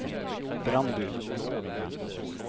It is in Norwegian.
Brandbu